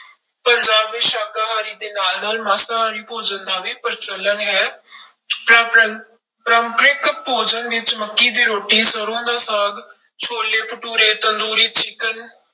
ਪੰਜਾਬ ਵਿੱਚ ਸ਼ਾਕਾਹਾਰੀ ਦੇ ਨਾਲ ਨਾਲ ਮਾਸਾਹਾਰੀ ਭੋਜਨ ਦਾ ਵੀ ਪ੍ਰਚਲਨ ਹੈ ਪਰਾਪਰੰ ਪਰੰਪਰਿਕ ਭੋਜਨ ਵਿੱਚ ਮੱਕੀ ਦੀ ਰੋਟੀ, ਸਰੋਂ ਦਾ ਸਾਗ, ਛੋਲੇ ਭਟੂਰੇ, ਤੰਦੂਰੀ ਚਿਕਨ